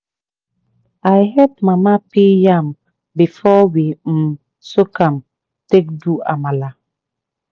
i help mama peel yam before we um soak am take do amala.